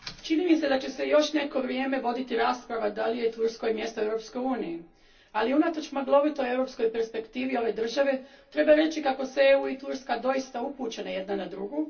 Gospođo predsjedavajuća, čini mi se da će se još neko vrijeme voditi rasprava da li je Turskoj mjesto u Europskoj uniji, ali unatoč maglovitoj europskoj perspektivi ove države treba reći kako su EU i Turska doista upućene jedna na drugu.